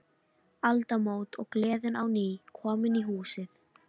Aldamót, og gleðin á ný komin í húsið.